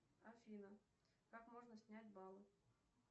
афина как можно снять баллы